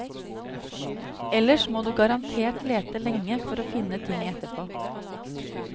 Ellers må du garantert lete lenge for å finne ting etterpå.